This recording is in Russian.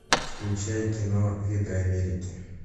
включай кино виды америки